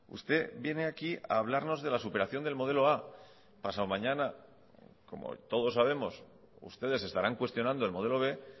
usted viene aquí a hablarnos de la superación del modelo a pasado mañana como todos sabemos ustedes estarán cuestionando el modelo b